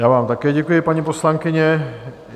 Já vám také děkuji, paní poslankyně.